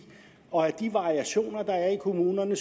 og at de variationer der er i kommunerne